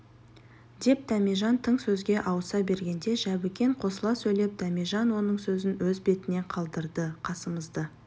деп дәмежан тың сөзге ауыса бергенде жәбікен қосыла сөйлеп дәмежан оның сөзін өз бетіне қалдырды қасымызды